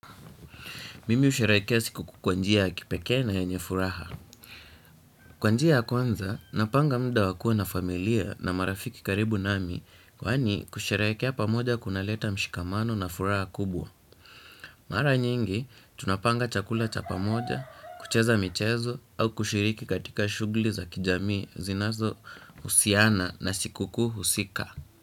Mimi husherehekea sikukuu kwa njia ya kipekee na yenye furaha. Kwa njia ya kwanza, napanga muda wa kua na familia na marafiki karibu nami kwani kusherehekea pamoja kunaleta mshikamano na furaha kubwa. Mara nyingi, tunapanga chakula cha pamoja, kucheza michezo au kushiriki katika shuguli za kijamii zinazo husiana na siku husika.